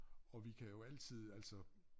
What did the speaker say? Og vi kan jo altid altså